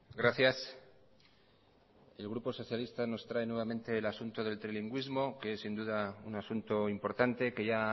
gracias el grupo socialista nos trae nuevamente el asunto del trilingüismo que es sin duda un asunto importante que ya